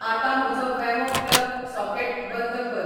आतां म्हजो वॅमो प्लग सॉकेट बंद कर